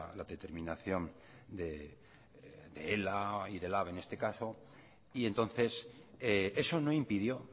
la determinación de ela y de lab en este caso y entonces eso no impidió